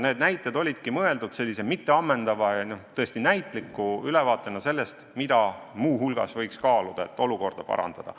Need näited olidki mõeldud sellise mitteammendava ja tõesti näitliku ülevaatena sellest, mida muu hulgas võiks kaaluda, et olukorda parandada.